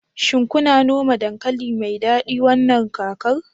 shin kuna noma dankali mai dadi wannan kakar